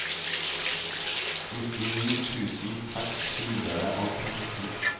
nittini tusen seks hundre og femten